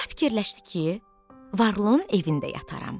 Allah fikirləşdi ki, varlının evində yataram.